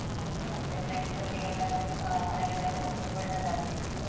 ಹ್ಮ್, ಮತ್ತೆ friends ಒಟ್ಟಿಗೆಲ್ಲ, ಆ ಹೊರಗಡೆಯೆಲ್ಲ ಹೋಗ್ಲಿಕ್ ಒಳ್ಳೇದಾಗ್ತಿತ್ತು.